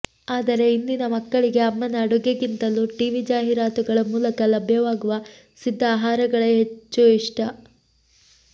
ಆದರೆ ಇಂದಿನ ಮಕ್ಕಳಿಗೆ ಅಮ್ಮನ ಅಡುಗೆಗಿಂತಲೂ ಟೀವಿ ಜಾಹೀರಾತುಗಳ ಮೂಲಕ ಲಭ್ಯವಾಗುವ ಸಿದ್ಧ ಆಹಾರಗಳೇ ಹೆಚ್ಚು ಇಷ್ಟ